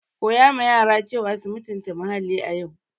Teach children to respect the environment today.